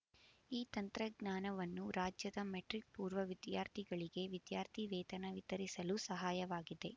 ಈ ತಂತ್ರಜ್ಞಾನವನ್ನು ರಾಜ್ಯದ ಮೆಟ್ರಿಕ್ ಪೂರ್ವ ವಿದ್ಯಾರ್ಥಿಗಳಿಗೆ ವಿದ್ಯಾರ್ಥಿವೇತನ ವಿತರಿಸಲು ಸಹಾಯವಾಗಿದೆ